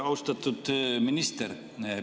Austatud minister!